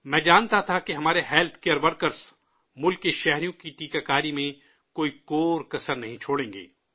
میں جانتا تھا کہ ہمارے ہیلتھ کیئر ورکرز ملک کے شہریوں کی ٹیکہ کاری میں کوئی کوتاہی نہیں برتیں گے